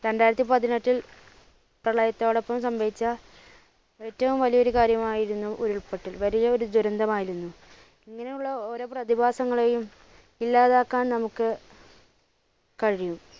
രണ്ടായിരത്തിപതിനെട്ടിൽ പ്രളയത്തോടൊപ്പം സംഭവിച്ച ഏറ്റവും വലിയൊരു കാര്യമായിരുന്നു ഉരുൾപൊട്ടൽ വലിയൊരു ദുരന്തമായിരുന്നു. ഇങ്ങനെയുള്ള ഓരോ പ്രതിഭാസങ്ങളെയും ഇല്ലാതാക്കാൻ നമ്മുക്ക് കഴിയും.